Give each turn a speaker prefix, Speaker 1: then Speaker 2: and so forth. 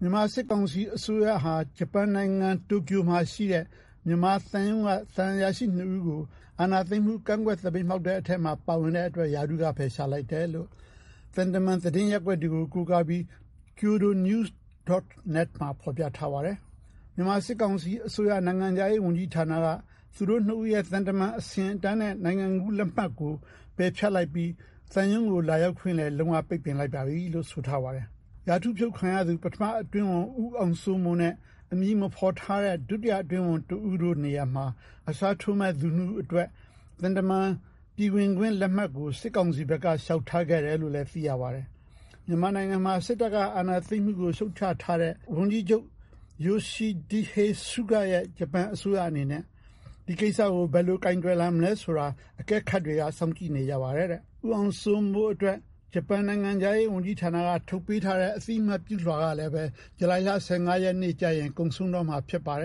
Speaker 1: မြန်မာစစ်ကောင်စီအစိုးရဟာ ဂျပန်နိုင်ငံ တိုကျိုမှာရှိတဲ့ မြန်မာသံရုံးက သံအရာရှိ ၂ ဦးကို အာဏာသိမ်းမှု ကန့်ကွက် သပိတ်မှောက်တဲ့အထဲမှာ ပါဝင်တဲ့အတွက် ရာထူးက ဖယ်ရှားလိုက်တယ်လို့ သံတမန် သတင်းရပ်ကွက်တွေကို ကိုးကားပြီး kyodo news. Net မှာ ဖော်ပြထားပါတယ်။ မြန်မာစစ်ကောင်စီအစိုးရ နိုင်ငံခြားရေးဝန်ကြီးဌာနက သူတို့ ၂ ဦးရဲ့ သံတမန် အဆင့်အတန်းနဲ့ နိုင်ငံကူးလက်မှတ်ကို ပယ်ဖျက်လိုက်ပြီး သံရုံးကို လာရောက်ခွင့်လည်း လုံး၀ ပိတ်ပင်လိုက်ပါပြီလို့ ဆိုထားပါတယ်။ ရာထူးဖြုတ်ခံထားရသူ ပထမအတွင်းဝန် ဦးအောင်စိုးမိုးနဲ့ အမည်မဖော်ထားတဲ့ ဒုတိယအတွင်းဝန် တဦးတို့နေရာမှာ အစားထိုးမယ့်သူ ၂ ဦးအတွက် သံတမန် ပြည်ဝင်ခွင့်လက်မှတ်ကို စစ်ကောင်စီဘက်က လျှောက်ထားခဲ့တယ်လို့ သိရပါတယ်။ မြန်မာနိုင်ငံမှာ စစ်တပ်က အာဏာသိမ်းမှုကို ရှုတ်ချထားတဲ့ ဝန်ကြီးချုပ် Yoshihide Suga ရဲ့ ဂျပန်အစိုးရ အနေနဲ့ ဒီကိစ္စကို ဘယ်လိုကိုယ်တွယ်လာမလဲဆိုတာ အကဲခတ်တွေက စောင့်ကြည့်နေကြပါတယ်။ ဦးအောင်စိုးမိုးအတွက် ဂျပန်နိုင်ငံခြားရေးဝန်ကြီးဌာနက ထုတ်ပေးထားတဲ့ အသိအမှတ်ပြုလွှာကလည်း ဇူလိုင်လ ၁၅ ရက်နေ့ကျရင် ကုန်ဆုံးတော့မှာပါ။